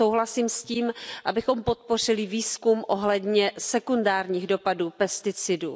Souhlasím s tím, abychom podpořili výzkum ohledně sekundárních dopadů pesticidů.